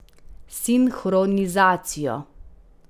Sinhronizacijo.